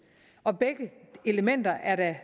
og begge elementer er da